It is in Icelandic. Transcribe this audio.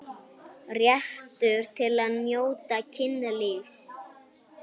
Réttur til að njóta kynlífs